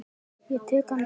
Ég tek hann upp.